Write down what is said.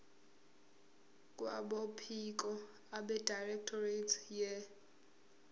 kwabophiko abedirectorate ye